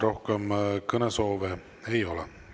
Rohkem kõnesoove ei ole.